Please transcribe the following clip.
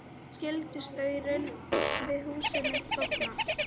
Skyldi staurinn við húsið mitt bogna?